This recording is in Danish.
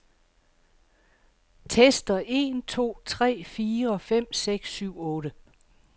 Tester en to tre fire fem seks syv otte.